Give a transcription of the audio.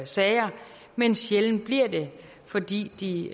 sager men sjældent bliver det fordi de